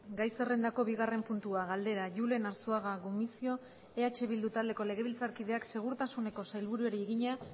gai zerrendako bigarren puntua galdera julen arzuaga gumuzio eh bildu taldeko legebiltzarkideak segurtasuneko sailburuari egina